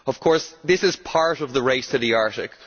Of course, this is part of the race to the Arctic.